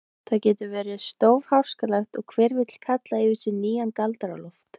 Það getur verið stórháskalegt og hver vill kalla yfir sig nýjan Galdra-Loft.